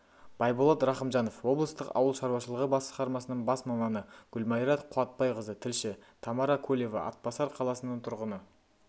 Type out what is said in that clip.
байболат рақымжанов облыстық ауыл шаруашылығы басқармасының бас маманы гүлмайра қуатбайқызы тілші тамара кулева атбасар қаласының тұрғыны